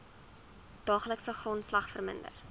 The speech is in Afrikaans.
daaglikse grondslag verminder